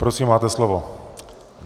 Prosím, máte slovo.